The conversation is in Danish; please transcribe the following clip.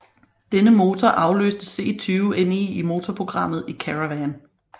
Denne motor afløste C20NE i motorprogrammet i Caravan